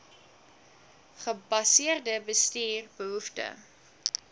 gebaseerde bestuur behoefte